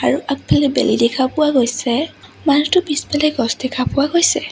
আৰু আগফালে বেলি দেখা পোৱা গৈছে মানুহটোৰ পিছফালে গছ দেখা পোৱা গৈছে।